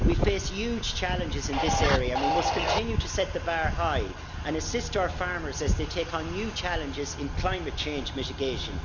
We face huge challenges in this area and we must continue to set the bar high and assist our farmers as they take on new challenges in climate change mitigation.